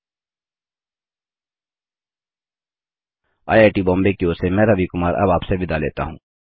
IIT Bombay की ओर से मैं रवि कुमार अब आप से विदा लेता हूँ